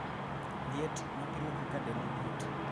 liet, ma pimo kaka dendi liet